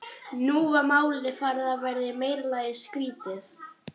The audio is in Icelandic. Nú var málið farið að verða í meira lagi skrýtið.